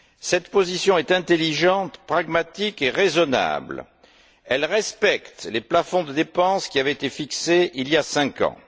Cette position est intelligente, pragmatique et raisonnable. Elle respecte les plafonds de dépenses qui avaient été fixés il y a cinq ans.